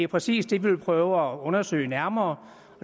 præcis det vi vil prøve at undersøge nærmere